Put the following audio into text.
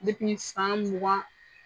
Depi ni san mugan